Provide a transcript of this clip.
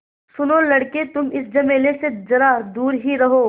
सुनो लड़के तुम इस झमेले से ज़रा दूर ही रहो